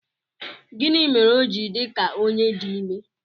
Gịnị mere o ji dị ka onye di ime?